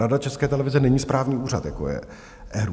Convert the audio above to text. Rada České televize není správní úřad, jako je ERÚ.